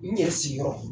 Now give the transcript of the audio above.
N ɲɛ sigiyɔrɔ